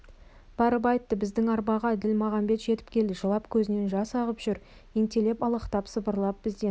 барып айтты біздің арбаға ділмағамбет жетіп келді жылап көзінен жас ағып жүр ентелеп алақтап сыбырлап бізден